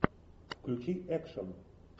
включи экшн